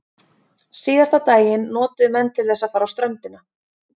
Síðasta daginn notuðu menn til þess að fara á ströndina.